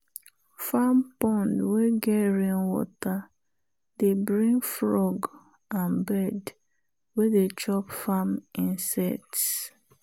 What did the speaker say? farm pond wey get rainwater dey bring frog and bird wey dey chop farm insects.